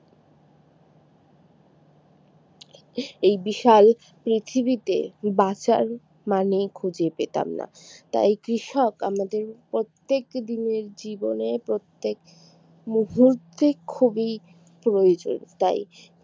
এই বিশাল পৃথিবীতে বাঁচার মানেই খুঁজে পেতাম না তাই কৃষক আমাদের প্রত্যেকটি দিনের জীবনে প্রত্যেক মুহূর্তে খুবই প্রয়োজন তাই